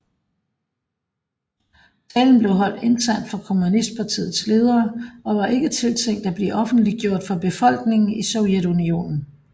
Talen blev holdt internt for kommunistpartiets ledere og var ikke tiltænkt at blive offentliggjort for befolkningen i Sovjetunionen